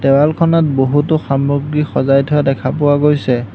দেৱালখনত বহুতো সামগ্ৰী সজাই থোৱা দেখা পোৱা গৈছে।